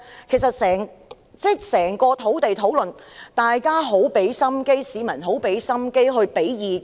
其實在整個土地大辯論之中，大家都很用心，市民亦用心提供意見。